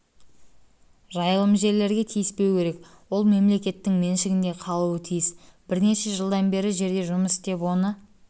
жайылым жерлерге тиіспеу керек ол мемлекеттің меншігінде қалуы тиіс бірнеше жылдан бері жерде жұмыс істеп оны